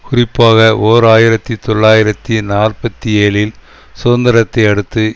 குறிப்பாக ஓர் ஆயிர தொள்ளாயிரத்தி நாற்பத்தி ஏழில் சுதந்திரத்தை அடுத்து